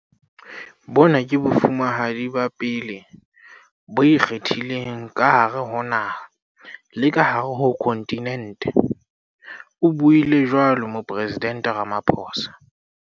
"Bona ke Bofumahadi ba pele bo ikgethileng ka hare ho naha le ka hare ho khonthinente," o buile jwalo Moporesidente Ramaphosa.